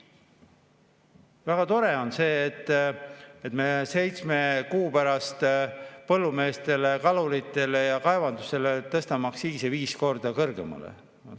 Väga tore on see, et me seitsme kuu pärast põllumeeste, kalurite ja kaevanduse aktsiise tõstame viis korda kõrgemale.